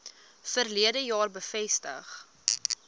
verlede jaar bevestig